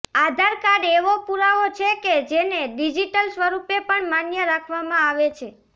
આધારકાર્ડ એવો પુરાવો છે કે જેને ડિજીટલ સ્વરુપે પણ માન્ય રાખવામાં આવે છે